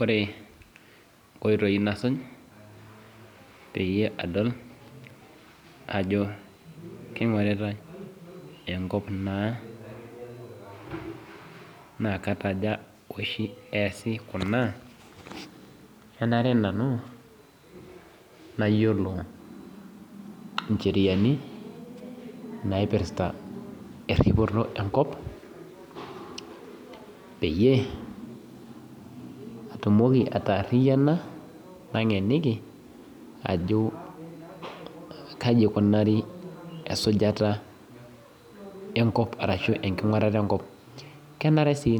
Ore inkoitoi nasuj peyie adol ajo keingoritae enkop naa naa kataja eesi kuna kanare nanu nayiolo incheriani naipirta eripoto enkop peyie atumoki ataariyiana nataaniki ajo kaji eikunari esujata enkop ashu kaji eikunari esajata enkop lenare sii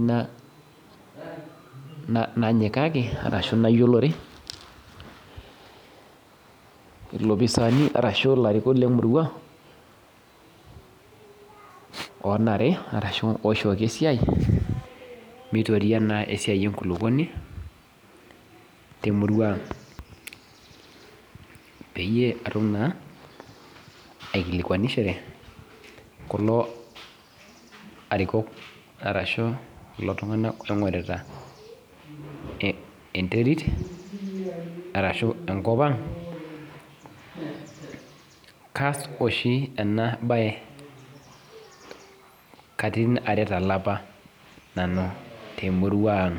nayiolo ilopisaani lemurua ooishooki esiai meitoria naa esiai enkulupuoni temurua ang peyie atum naa aikilikuanishore kulo tung'anak oing'orita enteri arshuu enkop ang kaas oshi ena baye katitin are tolapa temurua ang